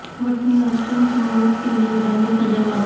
Whitney Houston کی موت کے لئے ڈالی کا جواب